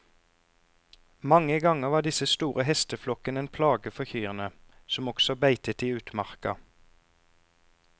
Mange ganger var disse store hesteflokkene en plage for kyrne, som også beitet i utmarka.